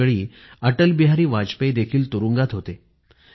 त्यावेळी अटलबिहारी वाजपेयी देखील तुरुंगात होते